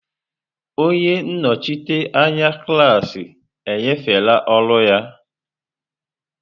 Onye nnọchite anya klaasị enyefela ọrụ a.